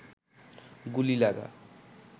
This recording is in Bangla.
গুলি লাগা